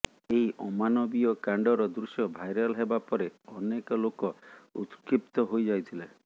ଏହି ଅମାନବୀୟ କାଣ୍ଡର ଦୃଶ୍ୟ ଭାଇରାଲ୍ ହେବା ପରେ ଅନେକ ଲୋକ ଉତ୍କ୍ଷିପ୍ତ ହୋଇ ଯାଇଥିଲେ